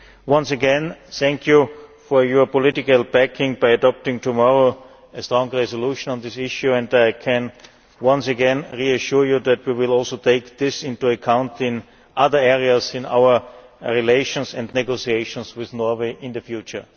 Once again, thank you for your political backing by adopting tomorrow a strong resolution on this issue, and I can once again reassure you that we will also take this into account in other areas in our relations and negotiations with Norway in the future.